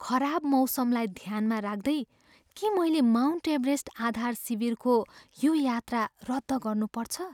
खराब मौसमलाई ध्यानमा राख्दै, के मैले माउन्ट एभरेस्ट आधार शिविरको यो यात्रा रद्द गर्नुपर्छ?